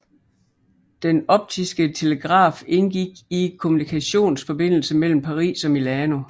Den optiske telegraf indgik i en kommunikationsforbindelse mellem Paris og Milano